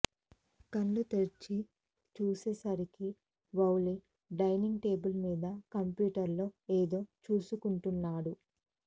కళ్ళు తెరిచి చూచేసరికి వౌళి డైనింగ్ టేబుల్మీద కంప్యూటర్లో ఏదో చూసుకుంటున్నాడు